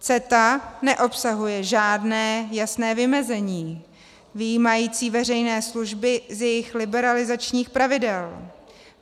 CETA neobsahuje žádné jasné vymezení vyjímající veřejné služby z jejich liberalizačních pravidel.